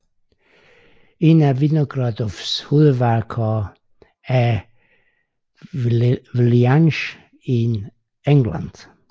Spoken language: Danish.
Et af Vinogradoffs hovedværker er Villainage in England